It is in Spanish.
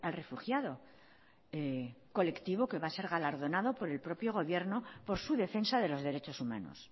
refugiado colectivo que va a ser galardonado por el propio gobierno por su defensa de los derechos humanos